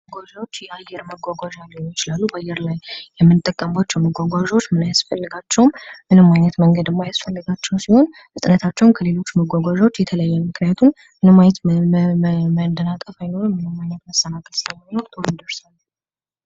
መጓጓዣዎች የአየር መጓጓዣዎች ሊሆኑ ይችላሉ። በአየር ላይ የምንጓጓዝባቸው መጓጓዣዎች ምን ያስፈልጋቸዋል? ምንም ዓይነት መንገድ የማያስፈልጋቸው ሲሆን ፍጥነታቸውም ከሌሎች የተለየ ነው። ምክንያቱም መሰናከል ስለማይኖር ቶሎ እንደርሳለን ።